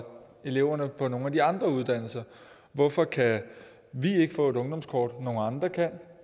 eleverne på nogle af de andre uddannelser hvorfor kan vi ikke få et ungdomskort nogle andre kan